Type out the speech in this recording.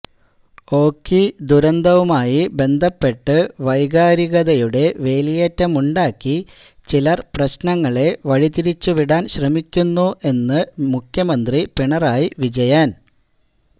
ഓഖി ദുരന്തവുമായി ബന്ധപ്പെട്ട് വൈകാരികതയുടെ വേലിയേറ്റമുണ്ടാക്കി ചിലർ പ്രശ്നങ്ങളെ വഴി തിരിച്ചുവിടാൻ ശ്രമിക്കുന്നു എന്ന് മുഖ്യമന്ത്രി പിണറായി വിജയൻ